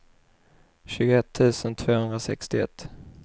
tjugoett tusen tvåhundrasextioett